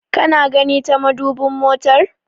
Kana gani ta madubin motar?